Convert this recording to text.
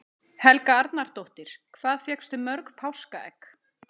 Helga Arnardóttir: Hvað fékkstu mörg páskaegg?